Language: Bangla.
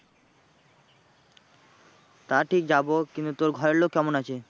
তা ঠিক যাবো কিন্তু তোর ঘরের লোক কেমন আছে?